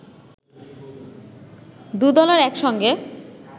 দু দলের এক সঙ্গে